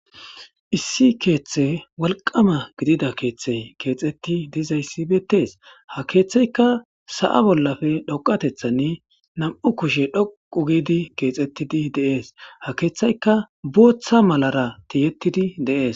issi keeththe wolqama gidida keeththey keexetti dizayssi beettees ha keeththeyka sa7a bollafe dhoqatethanni nam7u kushe dhoqu giidi keexettidi deees ha keeththayka booththa malara tiyettidi de'es